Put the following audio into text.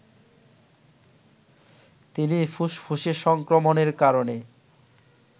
তিনি ফুসফুসে সংক্রমণের কারণে